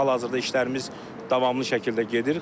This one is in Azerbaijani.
Hal-hazırda işlərimiz davamlı şəkildə gedir.